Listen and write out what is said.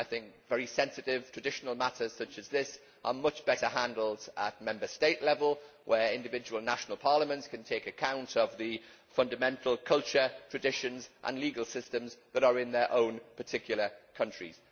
I think very sensitive, traditional matters such as this are much better handled at Member State level, where individual national parliaments can take account of the fundamental culture, traditions and legal systems that are in their own particular countries.